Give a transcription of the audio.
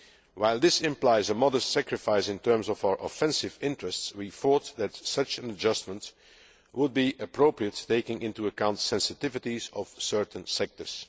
While this implies a modest sacrifice in terms of our offensive interests, we thought that such an adjustment would be appropriate, taking into account the sensitivities of certain sectors.